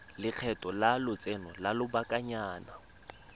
lekgetho la lotseno lwa lobakanyana